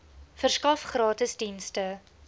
verskaf gratis dienste